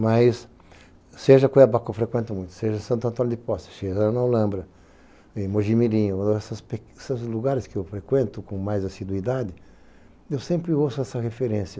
Mas, seja Cuiabá, que eu frequento muito, seja Santo Antônio de Poça, chegando a Olambra, Mojimirinho, esses lugares que eu frequento com mais assiduidade, eu sempre ouço essa referência.